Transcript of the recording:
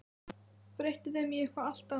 Breytti þeim í eitthvað allt annað.